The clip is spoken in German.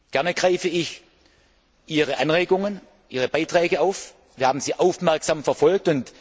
Gerne greife ich Ihre Anregungen und Ihre Beiträge auf, wir haben sie aufmerksam verfolgt.